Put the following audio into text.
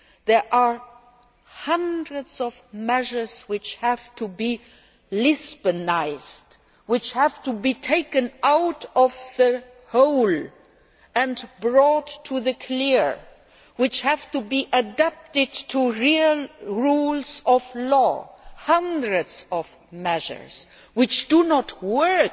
There are hundreds of measures which have to be Lisbonised', which have to be taken out of the hole and brought into the light of day, which have to be adapted to the real rules of law hundreds of measures that do not work.